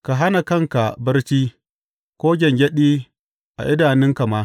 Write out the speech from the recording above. Ka hana kanka barci, ko gyangyaɗi a idanunka ma.